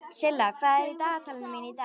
Silla, hvað er í dagatalinu mínu í dag?